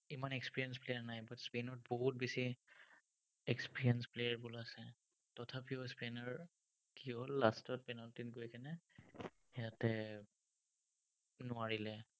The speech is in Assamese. ইমান experienced player নাই, butspain ত বহুত বেছি experienced player বোৰ আছে, তথাপিও spain ৰ কিহ'ল, last ত penalty ত গৈ সিহঁতে নোৱাৰিলে।